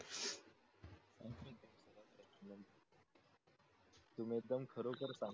तुम्ही एकदम खरोखर सांगताय